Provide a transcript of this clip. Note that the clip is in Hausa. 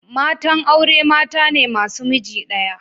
Matan aure mata ne masu miji daya.